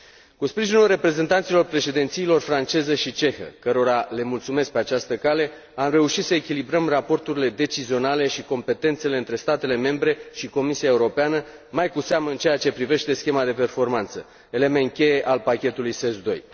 Cu sprijinul reprezentanților președințiilor franceză și cehă, cărora le mulțumesc pe această cale, am reușit să echilibrăm raporturile decizionale și competențele dintre statele membre și Comisia Europeană, mai cu seamă în ceea ce privește schema de performanță, element cheie al pachetului SES II.